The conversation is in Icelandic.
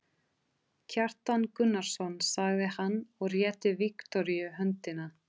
Kjartan Gunnarsson, sagði hann og rétti Viktoríu höndina.